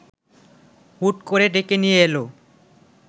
হুট করে ডেকে নিয়ে এলো